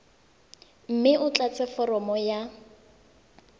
mme o tlatse foromo ya